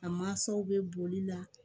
A mansaw bɛ boli la